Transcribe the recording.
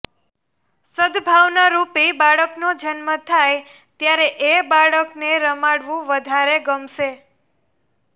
સદભાવનારૂપી બાળકનો જન્મ થાય ત્યારે એ બાળકને રમાડવું વધારે ગમશે